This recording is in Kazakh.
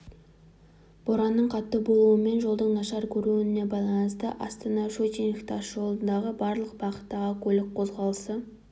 боранның қатты болуы мен жолдың нашар көрінуіне байланысты астана-щучинск тас жолындағы барлық бағыттағы көлік қозғалысы